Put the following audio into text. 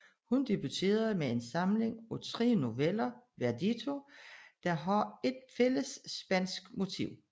Hun debuterede med en samling af tre noveller Verdito der har et fælles spansk motiv